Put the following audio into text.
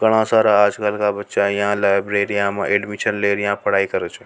घणा सारा आज कल का बच्चा है यह लाइब्रेरी में एडमिशन लेर पढ़ाई कर छ।